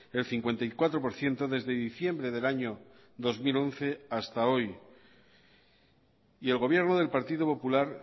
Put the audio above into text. el cincuenta y cuatro por ciento desde diciembre del año dos mil once hasta hoy y el gobierno del partido popular